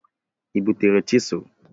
Ị butere chisel?